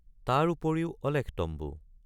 তাৰ উপৰিও অলেখ তম্বু।